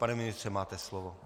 Pane ministře, máte slovo.